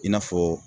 I n'a fɔ